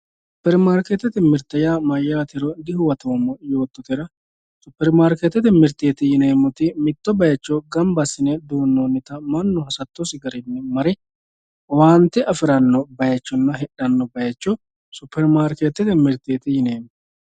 supermarikeetete mirte yaa mayaatero dihuwatoomo yootohura supermarikeetete mirteti yineemoti mitto bayiicho gamba assine duunonnita mannu hasattosi garinni mare owaante afiranno bayiichonna hixxanno bayiicho supermarikeetete mirteeti yineemo